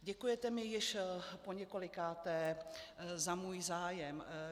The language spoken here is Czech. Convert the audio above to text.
Děkujete mi již poněkolikáté za můj zájem.